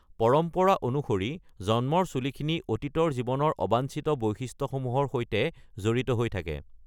পৰম্পৰা অনুসৰি জন্মৰ চুলিখিনি অতীত জীৱনৰ অবাঞ্চিত বৈশিষ্ট্যসমূহৰ সৈতে জড়িত হৈ থাকে।